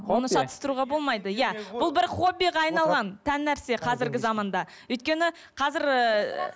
оны шаттыстыруға болмайды иә бұл бір хоббиға айналған тән нәрсе қазіргі заманда өйткені қазір ыыы